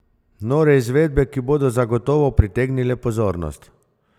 Nore izvedbe, ki bodo zagotovo pritegnile pozornost!